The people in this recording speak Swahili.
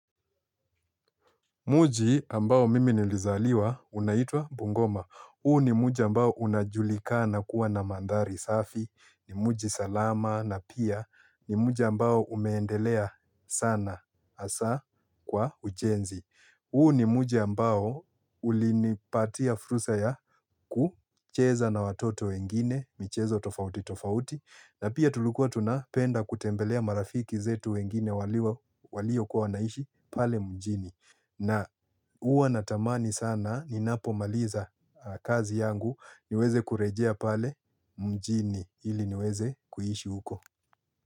Mji ambao mimi nilizaliwa unaitwa Bungoma. Huu ni mji ambao unajulikana kuwa na mandhari safi, ni mji salama, na pia ni mji ambao umeendelea sana hasa kwa ujenzi. Huu ni mji ambao ulinipatia fursa ya kucheza na watoto wengine, michezo tofauti tofauti, na pia tulukuwa tunapenda kutembelea marafiki zetu wengine walio kwa wanaishi pale mjini. Na huwa natamani sana ninapomaliza kazi yangu niweze kurejia pale mjini ili niweze kuhishi uko.